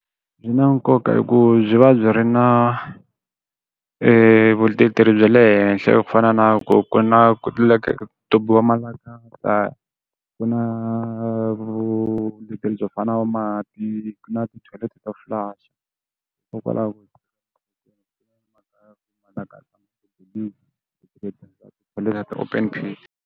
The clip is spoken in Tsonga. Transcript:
Byi na nkoka hi ku byi va byi ri na vuleteri bya le henhla ku fana na ku ku na ku ku na vuleteri byo fana na mati na tithoyileti to hlula ti open pit.